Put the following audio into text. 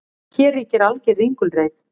Hér ríkir alger ringulreið